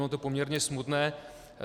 Ono je to poměrně smutné.